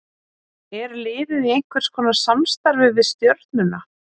Er liðið í einhverskonar samstarfi við Stjörnuna?